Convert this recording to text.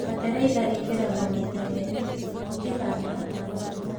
Bataraitha ĩkĩragwo maita merĩ, ũkĩhanga na gũkũra.